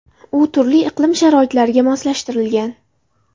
U turli iqlim sharoitlariga moslashtirilgan.